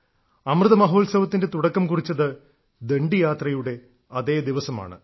അമൃതമഹോത്സവത്തിന്റെ തുടക്കം കുറിച്ചത് ദണ്ഡി യാത്രയുടെ അതേ ദിവസമാണ്